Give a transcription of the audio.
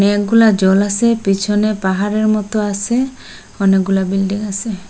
অনেকগুলা জল আসে পিছনে পাহাড়ের মতো আসে অনেকগুলা বিল্ডিং আসে।